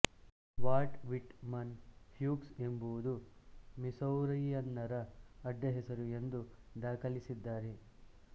Walt Whitman Pukes ಎಂಬುದು ಮಿಸೌರಿಯನ್ನರ ಅಡ್ಡಹೆಸರು ಎಂದು ದಾಖಲಿಸಿದ್ದಾರೆ